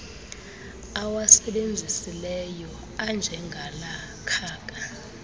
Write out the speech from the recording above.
awasebenzisileyo anjengala khaka